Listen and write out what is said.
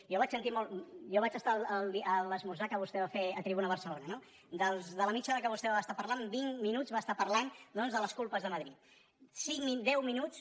jo vaig estar a l’esmorzar que vostè va fer a tribuna barcelona no de la mitja hora que vostè va estar parlant vint minuts va estar parlant doncs de les culpes de madrid cinc deu mi·nuts